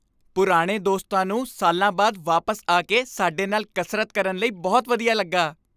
ਪੁਰਾਣੇ ਦੋਸਤਾਂ ਨੂੰ ਸਾਲਾਂ ਬਾਅਦ ਵਾਪਸ ਆ ਕੇ ਸਾਡੇ ਨਾਲ ਕਸਰਤ ਕਰਨ ਲਈ ਬਹੁਤ ਵਧੀਆ ਲੱਗਾ।